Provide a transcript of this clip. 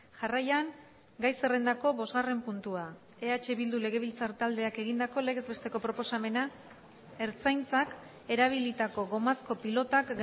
jarraian gai zerrendako bosgarren puntua eh bildu legebiltzar taldeak egindako legez besteko proposamena ertzaintzak erabilitako gomazko pilotak